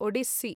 Odissi